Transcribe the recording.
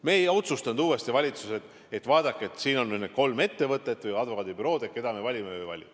Me ei otsustanud valitsuses, et vaadake, siin on kolm ettevõtet või advokaadibürood, kelle me valime.